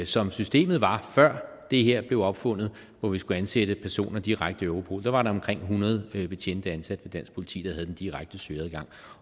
som systemet var før det her blev opfundet hvor vi skulle ansætte personer direkte i europol var der omkring hundrede betjente ansat ved dansk politi der havde den direkte søgeadgang